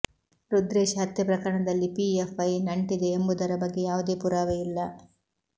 ರುದ್ರೇಶ್ ಹತ್ಯೆ ಪ್ರಕರಣದಲ್ಲಿ ಪಿಎಫ್ಐ ನಂಟಿದೆ ಎಂಬುದರ ಬಗ್ಗೆ ಯಾವುದೇ ಪುರಾವೆ ಇಲ್ಲ